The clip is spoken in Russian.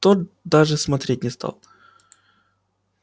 тот даже смотреть не стал